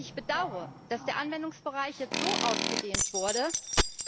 Ich bedaure, dass der Anwendungsbereich jetzt so ausgedehnt wurde,